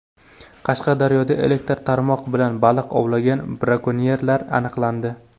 Qashqadaryoda elektr qarmoq bilan baliq ovlagan brakonyerlar aniqlandi.